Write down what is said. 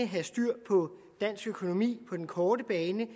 have styr på dansk økonomi på den korte bane